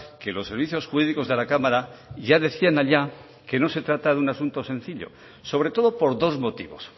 que los servicios jurídicos de la cámara ya decían allá que no se trata de un asunto sencillo sobre todo por dos motivos